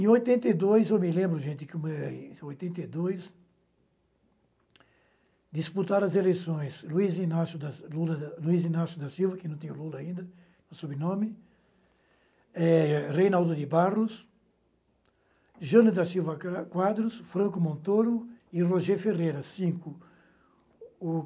Em oitenta e dois, eu me lembro, gente, que o me, em oitenta e dois, disputaram as eleições Luiz Inácio da Lula da... Luiz Inácio da Silva, que não tem Lula ainda, no sobrenome, eh... Reinaldo de Barros, Jana da Silva Quadros, Franco Montoro e Rogê Ferreira, cinco.